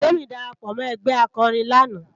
Temi dàrápò mò ègbè àkòrín làná